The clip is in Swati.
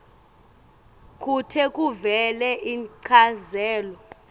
kute kuvele inchazelo